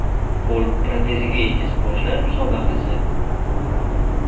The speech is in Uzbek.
Qo‘l proteziga ega sportchilar musobaqasi.